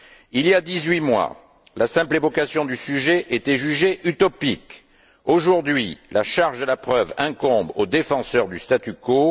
Il y a dix huit mois, la simple évocation du sujet était jugée utopique. Aujourd'hui, la charge de la preuve incombe aux défenseurs du statu quo.